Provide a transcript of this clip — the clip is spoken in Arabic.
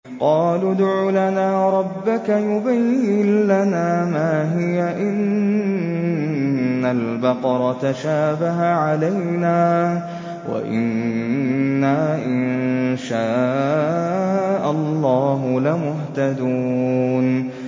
قَالُوا ادْعُ لَنَا رَبَّكَ يُبَيِّن لَّنَا مَا هِيَ إِنَّ الْبَقَرَ تَشَابَهَ عَلَيْنَا وَإِنَّا إِن شَاءَ اللَّهُ لَمُهْتَدُونَ